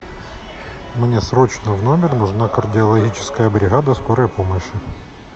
мне срочно в номер нужна кардиологическая бригада скорой помощи